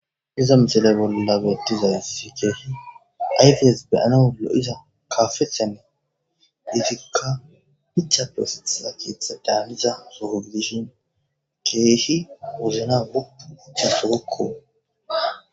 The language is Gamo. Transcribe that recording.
niza misele bolla betiza sikeeshi ayfees beyanaoolo7iza kaafethene getikka hica posita kitha daaniza suhugdishin keeshi uzina guu icha sugokko